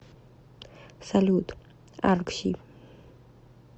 салют аркси